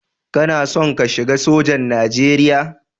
Kana son ka shiga sojan Nijeriya?